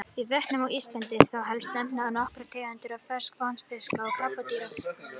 Í vötnum á Íslandi er þó helst að nefna nokkrar tegundir ferskvatnsfiska og krabbadýra.